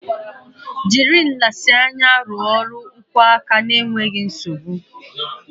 Jiri nlezianya rụọ ọrụ nkwọ aka n'enweghị nsogbu